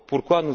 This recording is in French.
Pourquoi